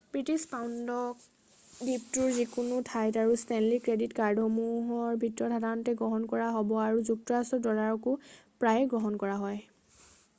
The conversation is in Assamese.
ব্ৰিটিছ পাউণ্ডক দ্বীপটোৰ যিকোনো ঠাইত আৰু ষ্টেনলি ক্ৰেডিট কাৰ্ডসমূহৰ ভিতৰত সাধাৰণতে গ্ৰহণ কৰা হ'ব আৰু যুক্তৰাষ্ট্ৰৰ ড'লাৰকো প্ৰায়েই গ্ৰহণ কৰা হয়৷